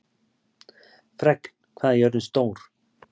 Fregn, hvað er jörðin stór?